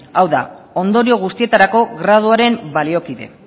hau da ondorio guztietarako graduaren baliokidea